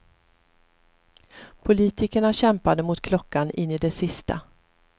Politikerna kämpade mot klockan in i det sista.